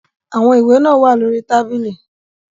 Àwọn ìwé náà wà lórí tábìlì.